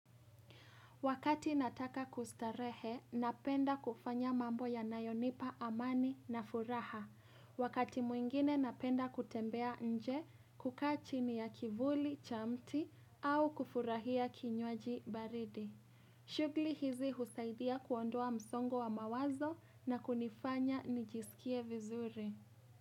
Wakati nataka kustarehe, napenda kufanya mambo ya nayonipa amani na furaha. Wakati mwingine napenda kutembea nje kukaa chini ya kivuli cha mti au kufurahia kinywaji baridi. Shughuli hizi husaidia kuondoa msongo wa mawazo na kunifanya nijisikie vizuri.